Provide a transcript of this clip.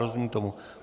Rozumím tomu.